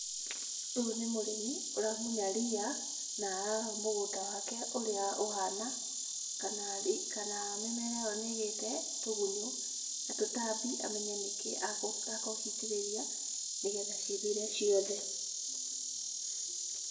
Ũyũ nĩ mũrĩmi ũramunya riya na ararora mũgũnda wake ũrĩa ũhana kana mĩmera ĩyo nĩgĩte tũgunyũ na tũtambi amenye nĩkĩĩ akũhota gũitĩrĩria nĩgetha cithire ciothe.